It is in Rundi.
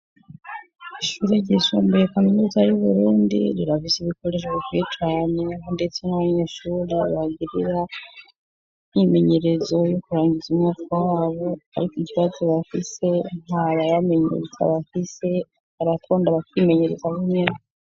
Amashure ryisumbuye kaminuza yub'Uburundi, irafise ibikoresho bikwiye cane, ndetse nah'abanyeshure agirira imyimenyerezo yo kurangiza umwaka wabo, ariko ikibazo bafise ntababamenyereza bafise, abakunda barimenyereza bonyene.